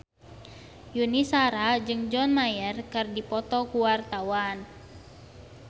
Yuni Shara jeung John Mayer keur dipoto ku wartawan